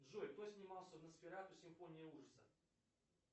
джой кто снимался в носферату симфония ужаса